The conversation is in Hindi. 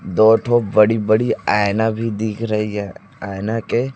दो ठो बड़ी बड़ी आईना भी दिख रही है आईना के--